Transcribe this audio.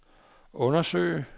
undersøge